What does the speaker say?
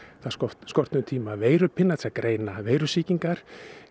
það skorti skorti um tíma veirupinna til að greina veirusýkingar